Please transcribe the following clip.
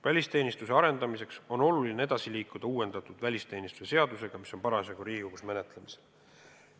Välisteenistuse arendamiseks on oluline edasi liikuda uuendatud välisteenistuse seadusega, mis on parasjagu Riigikogus menetlemisel.